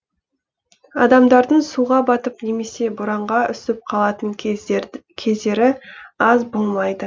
адамдардың суға батып немесе боранға үсіп қалатын кездері аз болмайды